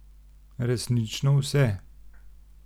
Resnično vse!